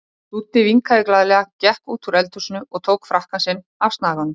Dúddi vinkaði glaðlega, gekk út úr eldhúsinu og tók frakkann sinn af snaganum.